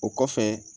O kɔfɛ